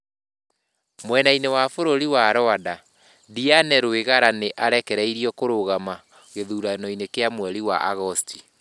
Mwena-inĩ wa bũrũri wa Rwanda, Diane Rwigara nĩ arekereirio kũrũgama gĩthuranoinĩ kĩa mweri wa Agosti.